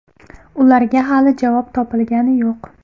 Ularga hali javob topilgani yo‘q.